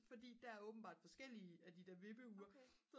fordi der er åbenbart forskellige af de der vippeure